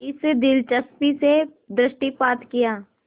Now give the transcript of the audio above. इस दिलचस्पी से दृष्टिपात किया